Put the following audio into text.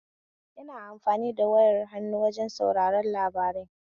Ina amfani da wayar hannu wajen sauraren labarai